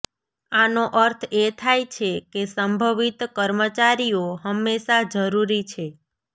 આનો અર્થ એ થાય છે કે સંભવિત કર્મચારીઓ હંમેશા જરૂરી છે